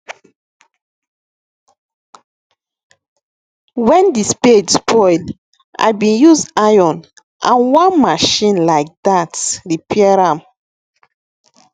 when di spade spoil i bin use iron and one machine like dat repair am